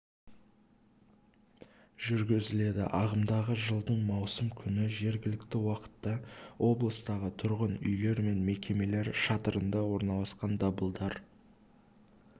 жүргізіледі ағымдағы жылдың маусым күні жергілікті уақытта облыстағы тұрғын үйлер мен мекемелер шатырында орналасқан дабылдар